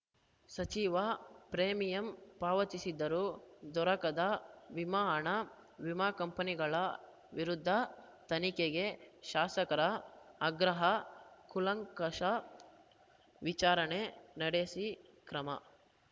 ಸಚಿವ ಪ್ರೇಮಿಯಂ ಪಾವತಿಸಿದರೂ ದೊರಕದ ವಿಮಾ ಹಣ ವಿಮಾ ಕಂಪನಿಗಳ ವಿರುದ್ಧ ತನಿಖೆಗೆ ಶಾಸಕರ ಆಗ್ರಹ ಕೂಲಂಕಷ ವಿಚಾರಣೆ ನಡೆಸಿ ಕ್ರಮ